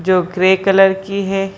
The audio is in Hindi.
जो ग्रे कलर की है।